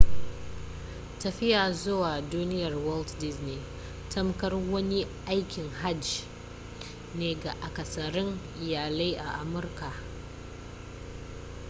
tafiya zuwa duniyar walt disney tamkar wani aikin hajji ne ga akasarin iyalai a amurka